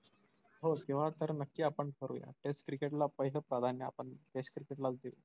हो तेंव्हा तर नक्की आपण करूया test cricket ला पाहिलं प्राधान्य आपण test cricket लाच देऊ.